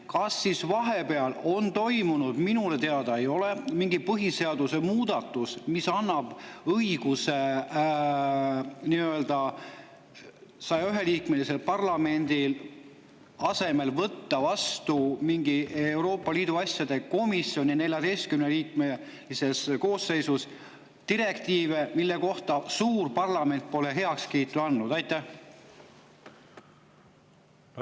Kas siis vahepeal on toimunud – minule see teada ei ole – mingi põhiseaduse muudatus, mis annab 101-liikmelise parlamendi asemel Euroopa Liidu asjade komisjoni 14-liikmelisele koosseisule õiguse võtta üle direktiive, millele suur parlament pole heakskiitu andnud?